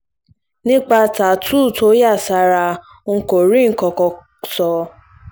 nípa tááàtú tó yà sára ńkọ́ kò rí nǹkan kan sọ